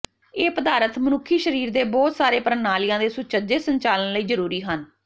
ਇਹ ਪਦਾਰਥ ਮਨੁੱਖੀ ਸਰੀਰ ਦੇ ਬਹੁਤ ਸਾਰੇ ਪ੍ਰਣਾਲੀਆਂ ਦੇ ਸੁਚੱਜੇ ਸੰਚਾਲਨ ਲਈ ਜਰੂਰੀ ਹਨ